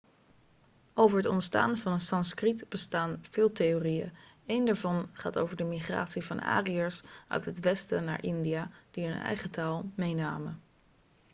over het ontstaan van het sanskriet bestaan veel theorieën een daarvan gaat over de migratie van ariërs uit het westen naar india die hun eigen taal meenamen